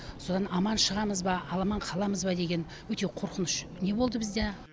содан аман шығамыз ба ал аман қаламыз ба деген өте қорқыныш не болды бізде